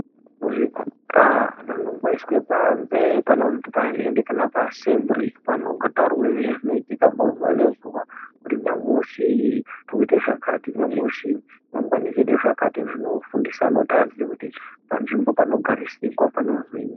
Vana muzvikora umwu vanomboiswe pazhe panozni panhende kana paassembiri vanombotaurwe zvinoitika muzuva nezuva kuti nyamushi tiri kuite zvakati nyamushi mangwana oite zvakati zvinofundisa kuti vandu vazive panzvimbo panogariswa kuti panonzinwi.